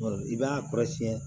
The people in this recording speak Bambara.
I b'a kɔrɔsiyɛn